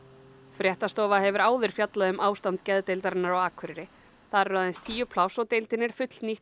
fréttastofa hefur áður fjallað um ástand geðdeildarinnar á Akureyri þar eru aðeins tíu pláss og deildin er fullnýtt